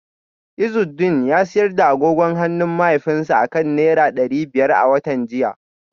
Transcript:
Izudeen ya sayar da agogon hannun mahaifinsa akan naira dari biyar a watan jiya